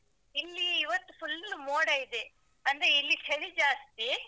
ಇಲ್ಲಿ ಇವತ್ತು full ಮೋಡ ಇದೆ ಅಂದ್ರೆ ಇಲ್ಲಿ ಚಳಿ ಜಾಸ್ತಿ.